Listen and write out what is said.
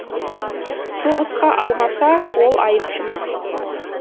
соғысқа алмаса ол айыпты ма